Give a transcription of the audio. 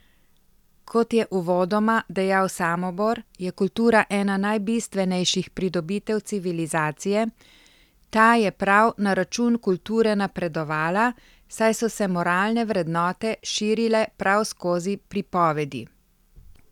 Kot je uvodoma dejal Samobor, je kultura ena najbistvenejših pridobitev civilizacije, ta je prav na račun kulture napredovala, saj so se moralne vrednote širile prav skozi pripovedi.